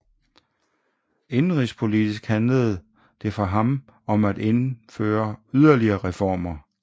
Indenrigspolitisk handlede det for ham om at gennemføre yderligere reformer